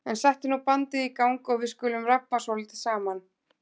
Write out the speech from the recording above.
En settu nú bandið í gang og við skulum rabba svolítið saman.